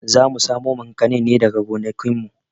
Zamu samo makanin ne daga gonakin mu